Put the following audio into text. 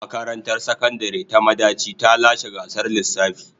Makarantar Sakandare ta Madaci ta lashe gasar lissafi.